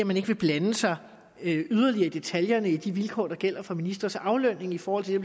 man ikke vil blande sig yderligere i detaljerne i de vilkår der gælder for ministres aflønning i forhold til det